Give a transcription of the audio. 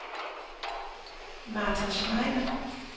Martha Schneider